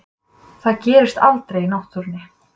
Það gerist aldrei í náttúrunni.